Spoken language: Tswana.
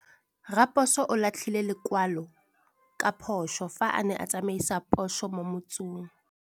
Raposo o latlhie lekwalô ka phosô fa a ne a tsamaisa poso mo motseng.